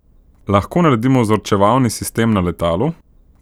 Lahko naredimo vzorčevalni sistem na letalu?